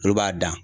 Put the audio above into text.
Olu b'a dan